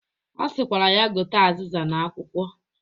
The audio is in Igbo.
Ọ sịkwara ya gote azịza na akwụkwọ